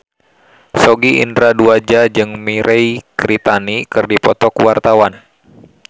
Sogi Indra Duaja jeung Mirei Kiritani keur dipoto ku wartawan